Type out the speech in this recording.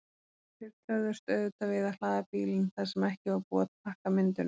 Þeir töfðust auðvitað við að hlaða bílinn þar sem ekki var búið að pakka myndunum.